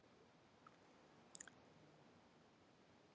Ég á stefnumót í sundlaugunum.